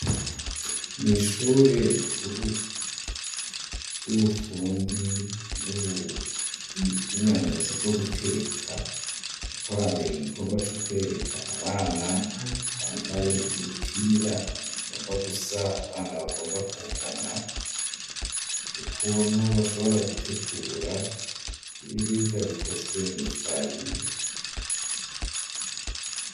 Mw'ishure rikuru ry'ubufundi n'ubuhinyanyuzi bwo guteka hariko habera igikorwa co kwereka abana bambaye imipira igomba gusa, abana bagomba kungana, ukuntu bashobora gutegura ibiribwa bikozwe mw'ifarine.